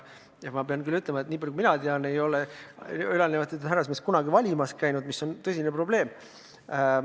Ma pean küll ütlema, et nii palju kui mina tean, ei ole ülalnimetatud härrasmehed kunagi valimas käinud, mis on tõsine probleem.